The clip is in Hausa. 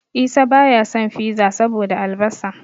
Isa baya son Fiza saboda albasa.